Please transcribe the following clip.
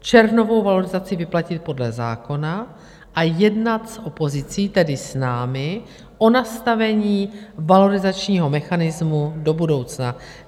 červnovou valorizaci vyplatit podle zákona a jednat s opozicí, tedy s námi, o nastavení valorizačního mechanismu do budoucna.